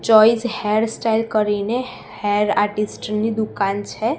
Choice hairstyle કરીને hair artist ની દુકાન છે.